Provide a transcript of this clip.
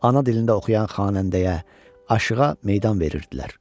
Ana dilində oxuyan xanəndəyə, aşığa meydan verirdilər.